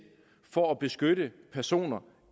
for at beskytte personer